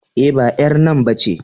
E, ba ƴar nan ba ce.